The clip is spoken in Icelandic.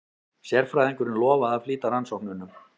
Sérfræðingurinn lofaði að flýta rannsóknunum.